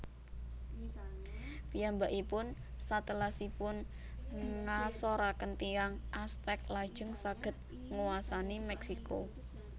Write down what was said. Piyambakipun satelasipun ngasoraken tiyang Aztec lajeng saged nguwasani Meksiko